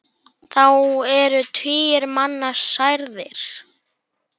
Þá eru tugir manna særðir.